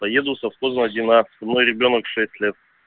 поеду совхозная одиннадцать со мной ребёнок шесть лет